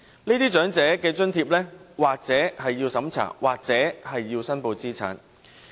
這些長者津貼或須經審查，或須申報資產。